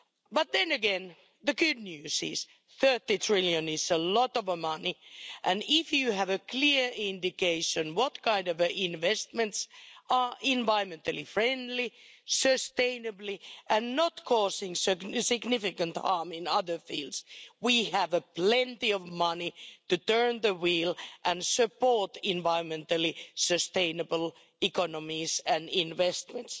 But then again, the good news is that EUR 30 trillion is a lot of money and as we have a clear indication what kind of investments are environmentally-friendly, sustainable and not causing significant harm in other fields, then we have plenty of money to turn the wheel and support environmentally-sustainable economies and investments.